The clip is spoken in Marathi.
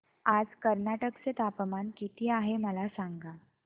आज कर्नाटक चे तापमान किती आहे मला सांगा